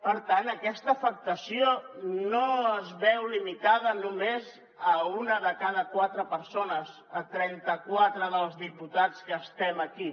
per tant aquesta afectació no es veu limitada només a una de cada quatre persones a trenta quatre dels diputats que estem aquí